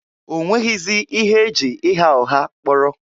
O nwezighị ihe e ji ịgha ụgha kpọrọ.